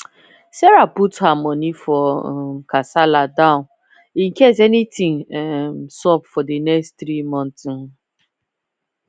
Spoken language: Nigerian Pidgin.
sarah don put her money for um kasala down incase anything um sup for the next 3 month um